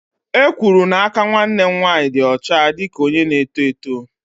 E kwuru n'aka nwanne m nwanyị dị ọcha dị ka onye na-eto eto.